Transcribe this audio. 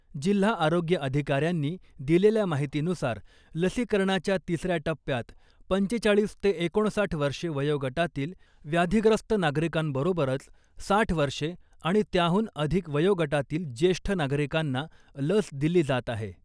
जिल्हा आरोग्य अधिकाऱ्यांनी दिलेल्या माहितीनुसार, लसीकरणाच्या तिसऱ्या टप्प्यात पंचेचाळीस ते एकोणसाठ वर्षे वयोगटातील व्याधिग्रस्त नागरिकांबरोबरच साठ वर्षे आणि त्याहून अधिक वयोगटातील ज्येष्ठ नागरिकांना लस दिली जात आहे .